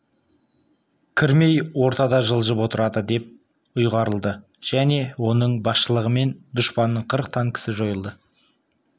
кірмей ортада жылжып отырады деп ұйғарылды және оның басшылығымен дұшпанның қырық танкісі жойылды